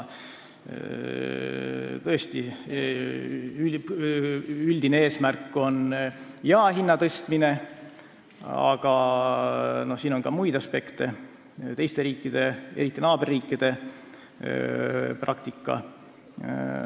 Tõesti, üldine eesmärk on jaehinna tõstmine, aga mängus on muidki aspekte, sh teiste riikide, eriti naaberriikide praktika.